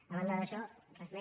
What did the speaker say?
a banda d’això res més